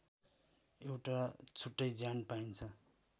एउटा छुट्टै ज्यान पाइन्छ